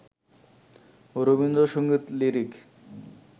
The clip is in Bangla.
রবীন্দ্র সংগীত লিরিক